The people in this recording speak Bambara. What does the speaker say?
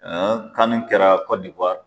CAN kɛra